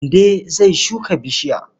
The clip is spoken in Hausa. Mande zai shuka bishiya.